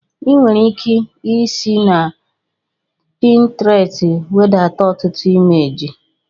Ị nwere ike isi na Pintrestị wedata ọtụtụ imeji